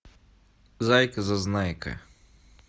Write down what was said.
зайка зазнайка